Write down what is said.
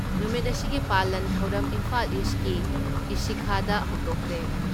ꯅꯨꯃꯤꯠ ꯑꯁꯤꯒꯤ ꯄꯥꯂꯟ ꯊꯧꯔꯝ ꯏꯝꯐꯥꯜ ꯏꯁꯀꯤ ꯏꯁꯤꯈꯥꯗ ꯍꯧꯗꯣꯛꯈ꯭ꯔꯦ ꯫